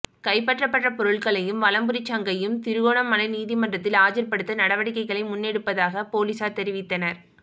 கைப்பற்றப்பட்ட பொருட்களையும் வலம்புரி சங்கையும் திருகோணமலை நீதிமன்றத்தில் ஆஜர்படுத்த நடவடிக்கைகளை முன்னெடுப்பதாக பொலிஸார் தெரிவித்தனர்